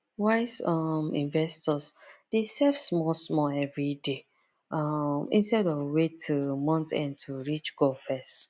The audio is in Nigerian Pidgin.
wise um investors dey save small small every day um instead of wait till month end to reach goal fast